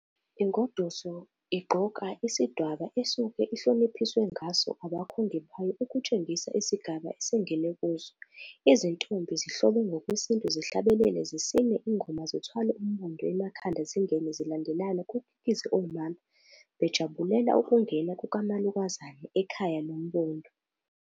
Ingoduso igqoka isidwaba esuke ihloniphiswe ngaso abakhongi bayo ukutshengisa isigaba esengene kuso. Izintombi zihlobe ngokwesintu zihlabelele zisine ingoma zithwala umbondo emakhanda zingene zilandelana kukikize omama bejabulela ukungena kukamalokazana ekhaya nombondo.